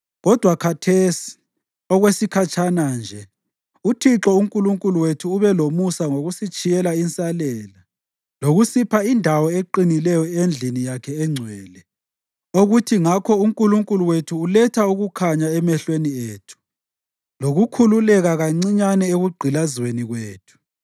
Kodwa khathesi, okwesikhatshana nje, uThixo uNkulunkulu wethu ube lomusa ngokusitshiyela insalela lokusipha indawo eqinileyo endlini yakhe engcwele, okuthi ngakho uNkulunkulu wethu uletha ukukhanya emehlweni ethu lokukhululeka kancinyane ekugqilazweni kwethu.